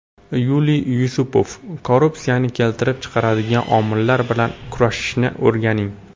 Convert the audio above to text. Yuliy Yusupov: Korrupsiyani keltirib chiqaradigan omillar bilan kurashishni o‘rganing.